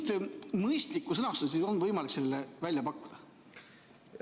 Kas mingit mõistlikku sõnastust on võimalik sellele välja pakkuda?